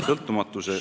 Suur tänu!